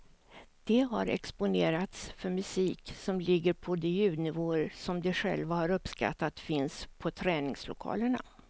De har exponerats för musik som ligger på de ljudnivåer som de själva har uppskattat finns på träningslokalerna.